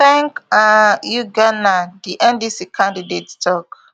thank um you ghana di ndc candidate tok